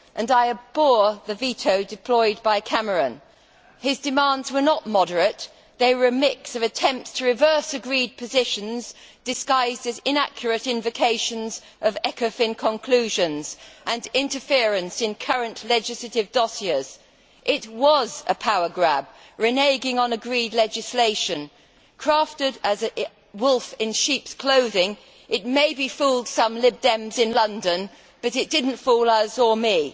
I abhor the veto deployed by Cameron. His demands were not moderate they were a mix of an attempt to reverse agreed positions disguised as inaccurate invocations of Ecofin conclusions and interference in current legislative dossiers. It was a power grab reneging on agreed legislation. Crafted as a wolf in sheep's clothing, it maybe fooled some Lib Dems in London, but it did not fool us or me.